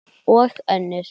Og önnur